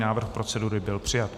Návrh procedury byl přijat.